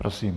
Prosím.